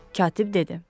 katib dedi.